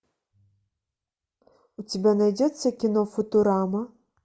у тебя найдется кино футурама